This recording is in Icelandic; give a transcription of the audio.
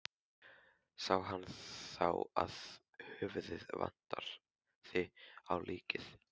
Sá hann þá að höfuðið vantaði á líkið.